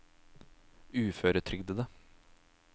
uføretrygdede